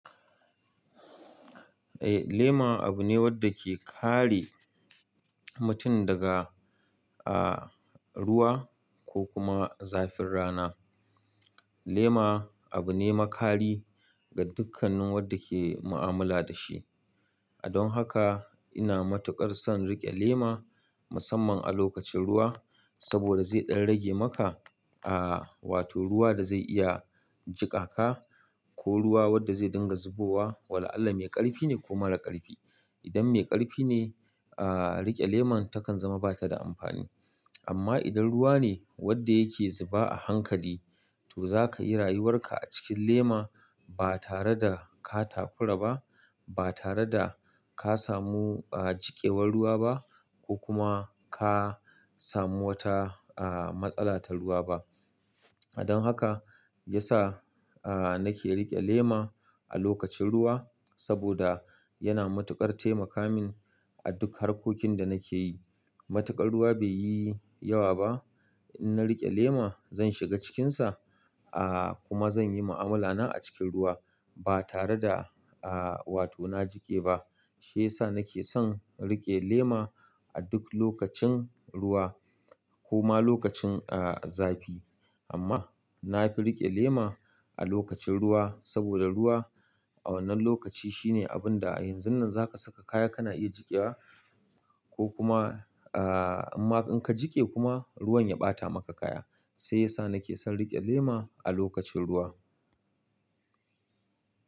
Eh, lema abu ne wadda ke kare mutum daga, ah, ruwa ko kuma zafin rana. Lema abu ne makari ga dukkanin wadda ke mu'amala da shi. Don haka ina matuƙar son riƙe lema musamman a lokacin ruwa saboda zai ɗan rage maka, ah, wato ruwa da zai iya jiƙa ka ko ruwa wadda zai dinga zubowa. Wala Allah mai ƙarfi ne ko mara ƙarfi. Idan mai ƙarfi ne, ah, riƙe lemar takan zama ba ta da amfani. Amma idan ruwa ne wanda yake zuba a hankali to zaka iya rayuwar ka a cikin lema ba tare da ka takura ba, ba tare da ka samu jikewar ruwa ba ko kuma ka samu wata ah matsala ta ruwa ba don haka ya sa, ah, nake riƙe lema a lokacin ruwa saboda yana matuƙar taimaka min a duk harkokin da nake yi. Matuƙar ruwa bai yi yawa ba. In na riƙe lema zan shiga cikinsa, ah, kuma zan yi mu'amala na a cikin ruwa ba tare da, ah, wato na jiƙe ba. Shiyasa nake son riƙe lema a duk lokacin ruwa koma lokacin, ah, zafi. Amma na fi riƙe lema a lokacin ruwa saboda ruwa a wannan lokaci shine abun da a yanzun nan zaka saka kaya kana iya jiƙewa ko kuma, ah, amma in ka jiƙe kuma ruwan ya ɓata maka kaya. Sai yasa nake son riƙe lema a lokacin ruwa.